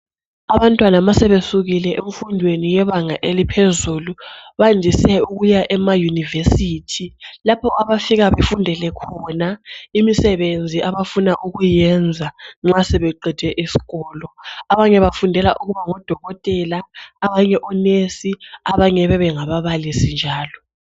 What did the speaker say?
Abantwana ma sebesukile emfundweni yebanga eliphezulu bandise ukuya ema University lapho abafika befundele khona imisebenzi abafuna ukuyenza nxa sebeqede isikolo. Abanye bafundela ukubana ngodokotela abanye onesi abanye bebengababalisi njalo.